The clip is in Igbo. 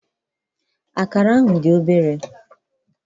Akara ahụ dị obere.